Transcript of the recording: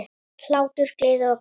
Hlátur, gleði og gaman.